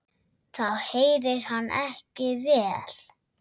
Þá heyrir hann ekki vel.